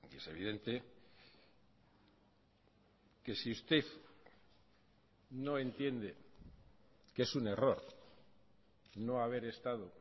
es evidente que si usted no entiende que es un error no haber estado